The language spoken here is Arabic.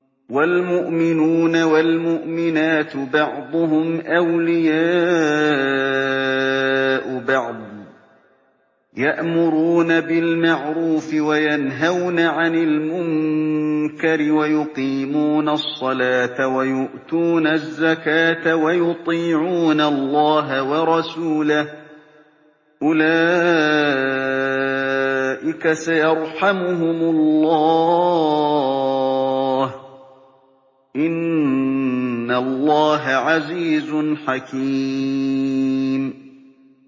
وَالْمُؤْمِنُونَ وَالْمُؤْمِنَاتُ بَعْضُهُمْ أَوْلِيَاءُ بَعْضٍ ۚ يَأْمُرُونَ بِالْمَعْرُوفِ وَيَنْهَوْنَ عَنِ الْمُنكَرِ وَيُقِيمُونَ الصَّلَاةَ وَيُؤْتُونَ الزَّكَاةَ وَيُطِيعُونَ اللَّهَ وَرَسُولَهُ ۚ أُولَٰئِكَ سَيَرْحَمُهُمُ اللَّهُ ۗ إِنَّ اللَّهَ عَزِيزٌ حَكِيمٌ